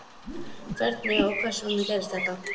Hvernig og hvers vegna gerðist þetta?